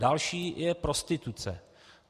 Další je prostituce.